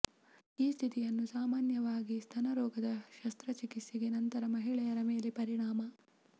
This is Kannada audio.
ಈ ಸ್ಥಿತಿಯನ್ನು ಸಾಮಾನ್ಯವಾಗಿ ಸ್ತನ ರೋಗದ ಶಸ್ತ್ರಚಿಕಿತ್ಸೆಗೆ ನಂತರ ಮಹಿಳೆಯರ ಮೇಲೆ ಪರಿಣಾಮ